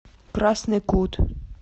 красный кут